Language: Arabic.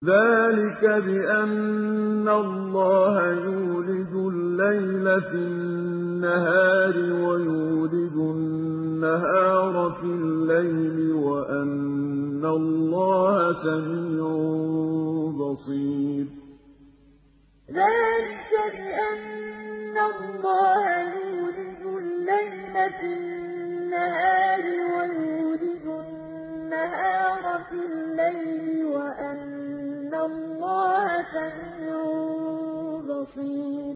ذَٰلِكَ بِأَنَّ اللَّهَ يُولِجُ اللَّيْلَ فِي النَّهَارِ وَيُولِجُ النَّهَارَ فِي اللَّيْلِ وَأَنَّ اللَّهَ سَمِيعٌ بَصِيرٌ ذَٰلِكَ بِأَنَّ اللَّهَ يُولِجُ اللَّيْلَ فِي النَّهَارِ وَيُولِجُ النَّهَارَ فِي اللَّيْلِ وَأَنَّ اللَّهَ سَمِيعٌ بَصِيرٌ